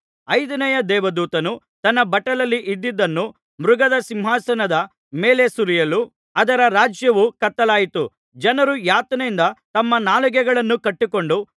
ಐದನೆಯ ದೇವದೂತನು ತನ್ನ ಬಟ್ಟಲಲ್ಲಿ ಇದ್ದದ್ದನ್ನು ಮೃಗದ ಸಿಂಹಾಸನದ ಮೇಲೆ ಸುರಿಯಲು ಅದರ ರಾಜ್ಯವು ಕತ್ತಲಾಯಿತು ಜನರು ಯಾತನೆಯಿಂದ ತಮ್ಮ ನಾಲಿಗೆಗಳನ್ನು ಕಚ್ಚಿಕೊಂಡು